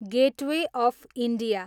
gateway of India